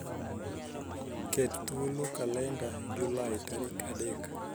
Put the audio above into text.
ket thuolo kalenda Julai tarik adek